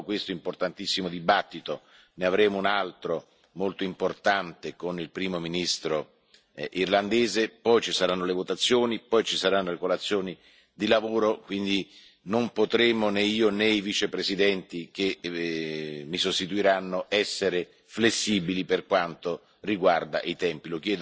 Dopo questo importantissimo dibattito ne avremo un altro molto importante con il Primo ministro irlandese, poi ci saranno le votazioni, poi ci saranno le colazioni di lavoro, quindi non potremo, né io né i Vicepresidenti che mi sostituiranno, essere flessibili per quanto riguarda i tempi.